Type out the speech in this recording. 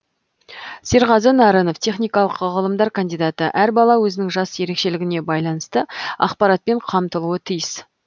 серғазы нарынов техникалық ғылымдар кандидаты әр бала өзінің жас ерекшелігіне байланысты ақпаратпен қамтылуы тиіс